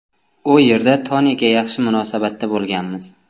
U yerda Toniga yaxshi munosabatda bo‘lganmiz.